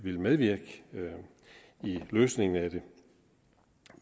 medvirke i løsningen af det